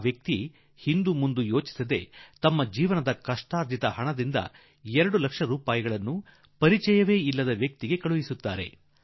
ಈ ಸಭ್ಯ ಮನುಷ್ಯ ಹಿಂದೂ ಮುಂದೂ ಯೋಚಿಸದೆ ತನ್ನ ಜೀವಮಾನದ ಶ್ರಮದ ವರಮಾನದಲ್ಲಿ 2 ಲಕ್ಷ ರೂಪಾಯಿಯನ್ನು ತೆಗೆದು ಕಂಡರಿಯದ ವ್ಯಕ್ತಿಗೆ ಕಳುಹಿಸಿಬಿಟ್ಟರು